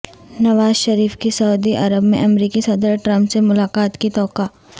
نواز شریف کی سعودی عرب میں امریکی صدر ٹرمپ سے ملاقات کی توقع